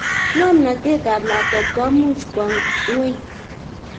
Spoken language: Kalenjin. ngomnotet tab lakwet komuch kwo nyweny